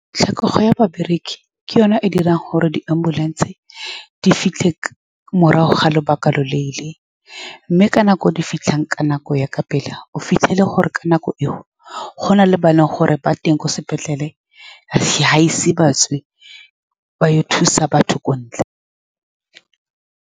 Tlhokego ya babereki ke yone e dirang gore di-ambulance di fitlhe morago ga lobaka lo lo leele, mme ka nako e di fitlhang ka nako ya ka pela, o fitlhele gore ka nako e o gona le ba e leng gore ba teng ko sepetlele, ga se batswe ba ya go thusa batho ko ntle.